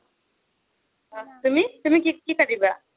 তুমি, তুমি কি কাটিবা?